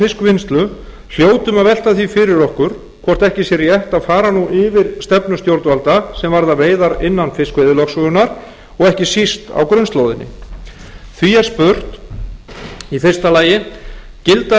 fiskvinnslu hljótum að velta því fyrir okkur hvort ekki sé rétt að fara nú yfir stefnu stjórnvalda sem varða veiðar innan fiskveiðilögsögunnar og ekki síst á grunnslóðin því er spurt fyrsta gilda